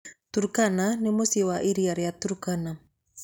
Turkana nĩ mũciĩ wa iria rĩaTurkana.